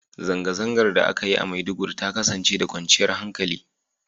Zangazangan da a ka Yi a maiduguri ta kasance da kwanchiyar hankali